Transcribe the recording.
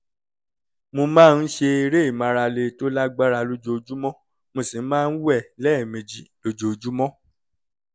mo máa ń ṣe eré ìmárale tó lágbára lójoojúmọ́ mo sì máa ń wẹ̀ lẹ́ẹ̀mejì lójúmọ́